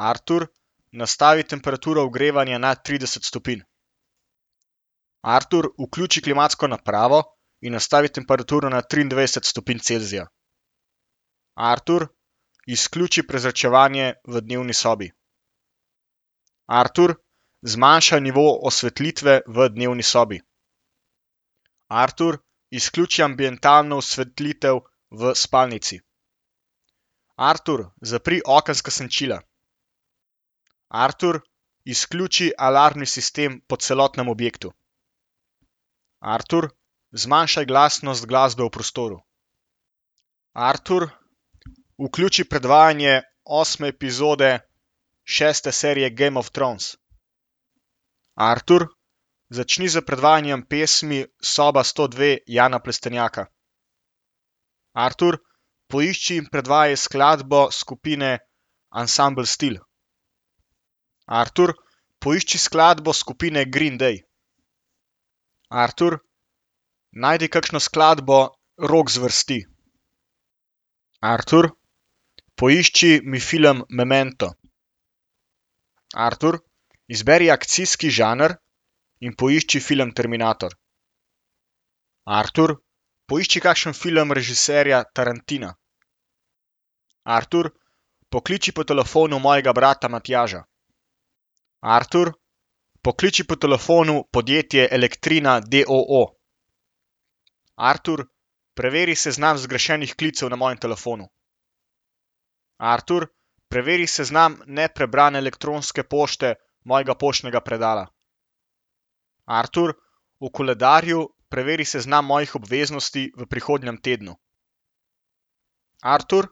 Artur, nastavi temperaturo ogrevanja na trideset stopinj. Artur, vključi klimatsko napravo in nastavi temperaturo na triindvajset stopinj Celzija. Artur, izključi prezračevanje v dnevni sobi. Artur, zmanjšaj nivo osvetlitve v dnevni sobi. Artur, izključi ambientalno osvetlitev v spalnici. Artur, zapri okenska senčila. Artur, izključi alarmni sistem po celotnem objektu. Artur, zmanjšaj glasnost glasbe v prostoru. Artur, vključi predvajanje osme epizode šeste serije Game of Thrones. Artur, začni s predvajanjem pesmi Soba sto dve Jana Plestenjaka. Artur, poišči in predvajaj skladbo skupine Ansambel Stil. Artur, poišči skladbo skupine Green day. Artur, najdi kakšno skladbo rok zvrsti. Artur, poišči mi film Memento. Artur, izberi akcijski žanr in poišči film Terminator. Artur, poišči kakšen film režiserja Tarantina. Artur, pokliči po telefonu mojega brata Matjaža. Artur, pokliči po telefonu podjetje Elektrina d. o. o. Artur, preveri seznam zgrešenih klicev na mojem telefonu. Artur, preveri seznam neprebrane elektronske pošte mojega poštnega predala. Artur, v koledarju preveri seznam mojih obveznosti v prihodnjem tednu. Artur,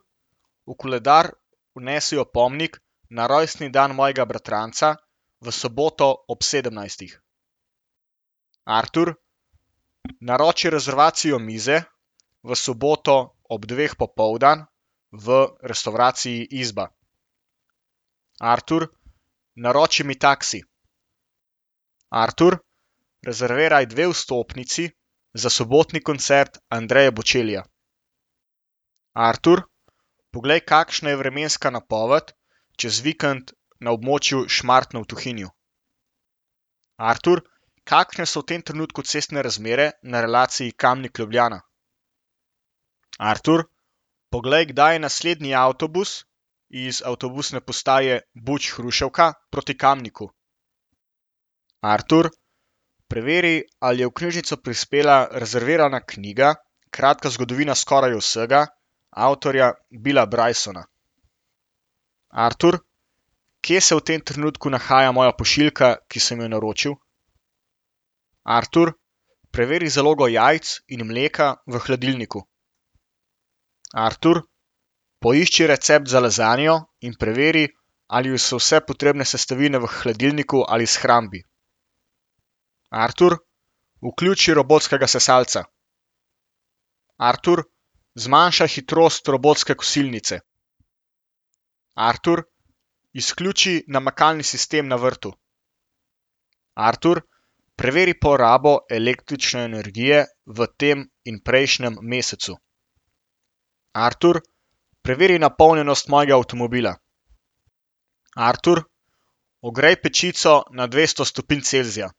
v koledar vnesi opomnik na rojstni dan mojega bratranca v soboto ob sedemnajstih. Artur, naroči rezervacijo mize v soboto ob dveh popoldan v restavraciji Izba. Artur, naroči mi taksi. Artur, rezerviraj dve vstopnici za sobotni koncert Andree Bocellija. Artur, poglej, kakšna je vremenska napoved čez vikend na območju Šmartno v Tuhinju. Artur, kakšne so v tem trenutku cestne razmere na relaciji Kamnik-Ljubljana. Artur, poglej, kdaj je naslednji avtobus iz avtobusne postaje Buč Hruševka proti Kamniku. Artur, preveri, ali je v knjižnico prispela rezervirana knjiga Kratka zgodovina skoraj vsega avtorja Billa Brysona. Artur, kje se v tem trenutku nahaja moja pošiljka, ki sem jo naročil? Artur, preveri zalogo jajc in mleka v hladilniku. Artur, poišči recept za lazanjo in preveri, ali so vse potrebne sestavine v hladilniku ali shrambi. Artur, vključi robotskega sesalca. Artur, zmanjšaj hitrost robotske kosilnice. Artur, izključi namakalni sistem na vrtu. Artur, preveri porabo električne energije v tem in prejšnjem mesecu. Artur, preveri napolnjenost mojega avtomobila. Artur, ogrej pečico na dvesto stopinj Celzija.